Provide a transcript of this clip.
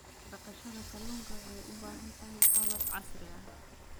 Dhaqashada kalluunka waxay u baahan tahay qalab iyo qalab casri ah.